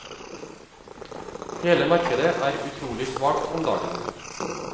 Hele markedet er utrolig svakt om dagen.